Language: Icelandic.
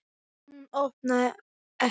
En hún opnar ekki.